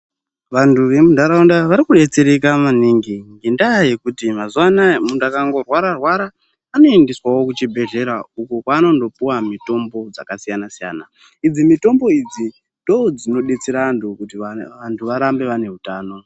Vantu vemuntaraunda varikudetsereka maningi nendaa yekuti mazuvano aya muntu akangorwara anoendeswawo kuchibhedhlera iko kwaanondopiwa mitombo dzakasiyana-siyana. Idzi mitombo idzi ndoo dzinodetsera antu kuti antu arambe ane hutano.